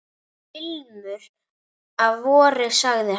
Ilmur af vori sagði hann.